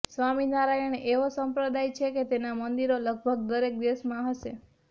સ્વામિનારાયણ એવો સંપ્રદાય છે કે તેનાં મંદિરો લગભગ દરેક દેશમાં હશે